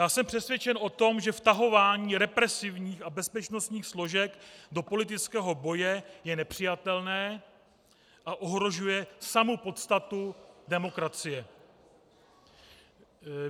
Já jsem přesvědčen o tom, že vtahování represivních a bezpečnostních složek do politického boje je nepřijatelné a ohrožuje samu podstatu demokracie.